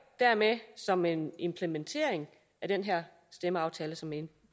dermed som en implementering af den her stemmeaftale som blev